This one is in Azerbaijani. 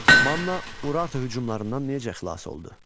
Manna Urartu hücumlarından necə xilas oldu?